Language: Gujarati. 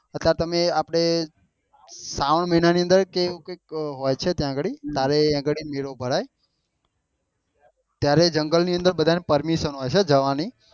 અત્યારે તમે આપડે શ્રાવણ મહિના ની અન્દર કે એવું કઈક હોય છે ત્યાં આગળ મેળો ભરાય ત્યારે જંગલ નું અન્દર બધા ને permission હોય છે જવાની